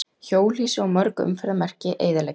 Hjólhýsi og mörg umferðarmerki eyðileggjast.